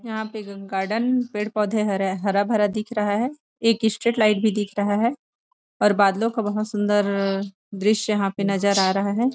यहां पे गार्डन पेड़ पौधे हरा भरा दिख रहा है एक स्ट्रेट लाइट भी दिख रहा है और बादलों का बहुत सुंदर दृश्य यहां पे नजर आ रहा है।